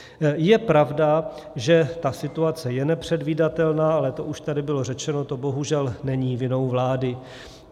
Je pravda, že ta situace je nepředvídatelná, ale to už tady bylo řečeno, to bohužel není vinou vlády.